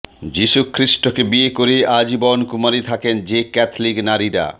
যীশুখ্রীস্টকে বিয়ে করে আজীবন কুমারী থাকেন যে ক্যাথলিক নারীরা